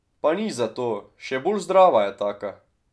Pa nič zato, še bolj zdrava je taka!